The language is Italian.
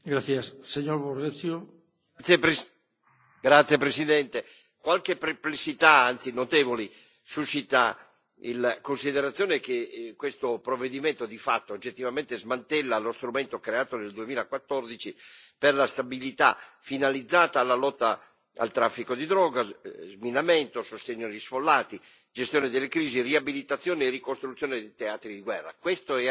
Signor Presidente, onorevoli colleghi, qualche perplessità, anzi notevoli, suscita la considerazione che questo provvedimento, di fatto, oggettivamente smantella lo strumento creato nel 2014 per la stabilità finalizzata alla lotta al traffico di droga, sminamento, sostegno agli sfollati, gestione delle crisi, riabilitazione e ricostruzione dei teatri di guerra. Questa era